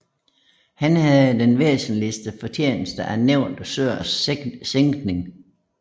Han havde den væsentligste fortjeneste af nævnte søers sænkning